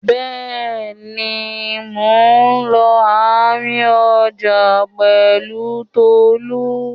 Bẹ́ẹ̀ni, mò ń lọ àárín ọjà pẹ̀lú Tolú.